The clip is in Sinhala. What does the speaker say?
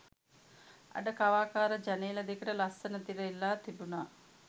අඩ කවාකාර ජනේල දෙකට ලස්සන තිර එල්ලා තිබුණා